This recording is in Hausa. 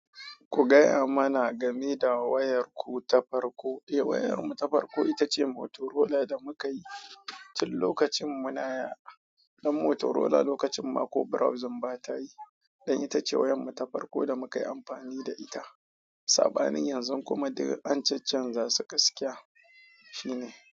Ku gaya mana game da wayarku ta farko. Eh, wayarmu ta farko ita ce Motorola da muka yi, tin lokacin muna, ɗan Motorola lokacin Marco browsing bata yi. Ɗan ita ce wayarmu ta farko da muka yi amfani da ita. Saɓanin yanzu kuma daga an cancan za su kasaitakiya. Shi ne.